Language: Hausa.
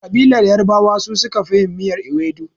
Ƙabilar yarbawa su suka fi yin miyar iwedu.